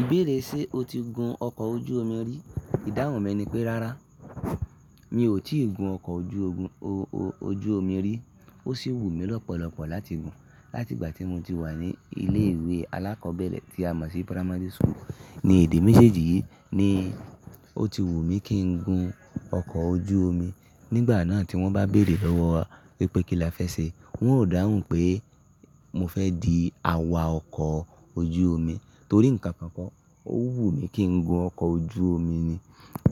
Ìbéèrè ṣe o ti gun ọkọ̀ ojú omi rí? Ìdáhùn mi ni pé, rárá, mi ò tí ì gun ọkọ̀ ojú omi rí. Ó sì wù mí lọ́pọ̀lọpọ̀ láti gun. Láti ìgbà tí mo ti wà ní ilé ìwé alákọ̀ọ́bẹ̀rẹ̀ tí a mọ̀ sí Primary School ní ìdí méjèèjì, ni ó ti wù mí kí n gun ọkọ̀ ojú omi. Nígbà náà tí wọ́n bá bèèrè lọ́wọ́ wa wípé kí la fẹ́ ṣe, wọn ó dáhùn pé mo fẹ́ di awa ọkọ̀ ojú omi torí ǹkan kan kọ́, ó wù mí kí n gun ọkọ̀ ojú omi ni.